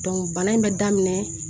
bana in bɛ daminɛ